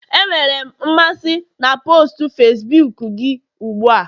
Enwere m mmasị na post Facibuku gị ugbu a